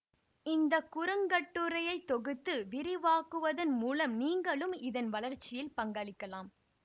இந்த குறுங்கட்டுரையை தொகுத்து விரிவாக்குவதன் மூலம் நீங்களும் இதன் வளர்ச்சியில் பங்களிக்கலாம்